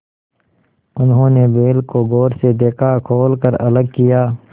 उन्होंने बैल को गौर से देखा खोल कर अलग किया